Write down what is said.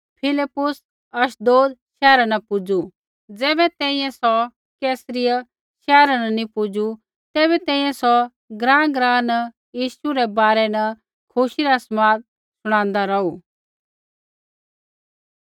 फिलिप्पुस अशदोद शैहरा न पुजू ज़ैबै तैंईंयैं सौ कैसरिया शैहरा न नी पुजू तैबै तैंईंयैं सौ ग्राँग्राँ न यीशु रै बारै न खुशी रा समाद शुणादा रौहू